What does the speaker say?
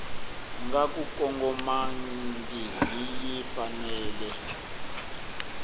nga ku kongomangihi yi fanele